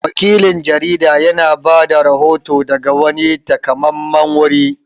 Wakilin jarida ya na bada rahoto daga wani taƙamammen wuri